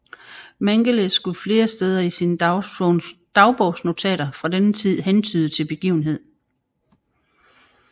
Mengele skulle flere steder i sine dagbogsnotater fra denne tid hentyde til begivenheden